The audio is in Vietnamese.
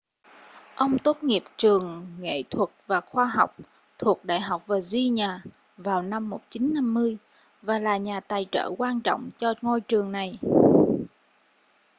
ông tốt nghiệp trường nghệ thuật và khoa học thuộc đại học virginia vào năm 1950 và là nhà tài trợ quan trọng cho ngôi trường này